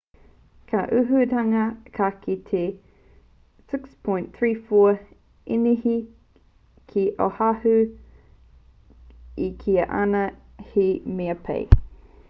ka uruhitanga ka eke ki te 6.34 īnihi ki oahu i kīa ana he mea pai